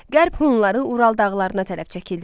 Qərb Hunları Ural dağlarına tərəf çəkildilər.